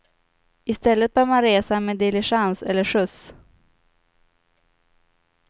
I stället bör man resa med diligens eller skjuts.